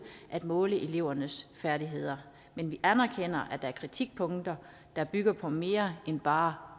at måle elevernes færdigheder men vi anerkender at der er kritikpunkter der bygger på mere end bare